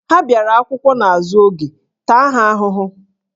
Ha bịara akwụkwọ n'azụ oge, taa ha ahụhụ!